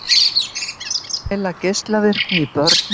Mæla geislavirkni í börnum